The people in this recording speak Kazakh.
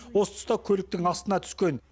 осы тұста көліктің астына түскен